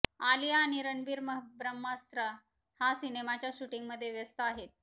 आलिया आणि रणबीर ब्रह्मास्त्र हा सिनेमाच्या शूटिंगमध्ये व्यस्त आहेत